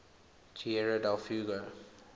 tierra del fuego